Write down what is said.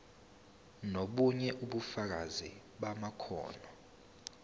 nobunye ubufakazi bamakhono